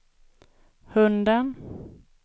hunden